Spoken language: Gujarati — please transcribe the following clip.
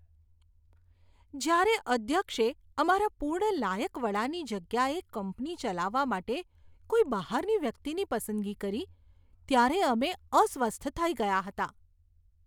જ્યારે અધ્યક્ષે અમારા પૂર્ણ લાયક વડાની જગ્યાએ કંપની ચલાવવા માટે કોઈ બહારની વ્યક્તિની પસંદગી કરી, ત્યારે અમે અસ્વસ્થ થઈ ગયા હતા.